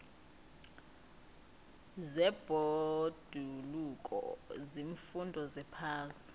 zebhoduluko ziimfundo zephasi